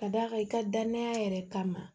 Ka d'a kan i ka danaya yɛrɛ kama